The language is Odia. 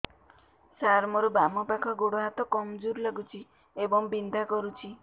ସାର ମୋର ବାମ ପାଖ ଗୋଡ ହାତ କମଜୁର ଲାଗୁଛି ଏବଂ ବିନ୍ଧା କରୁଛି